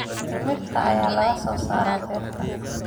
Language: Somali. Timirta ayaa laga soo saaraa beerta.